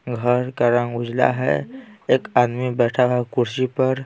घर का रंग उजला है एक आदमी बैठा हुआ है कुर्सी पर।